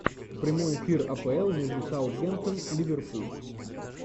прямой эфир апл между саутгемптон ливерпуль